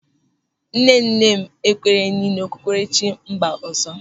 Nnenne m ekwenyeghị n'okpukperechi mba ọzọ.